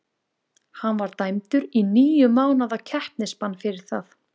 Hann var dæmdur í níu mánaða keppnisbann fyrir það.